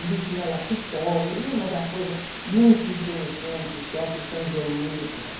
Onde tinha Lacoupole, e mas a coisa muito interessante, perto de Saint-Germain-des-Prés.